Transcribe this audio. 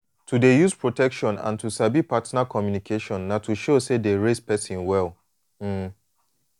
to dey use protection and to sabi partner communication na to show say dey raise person well um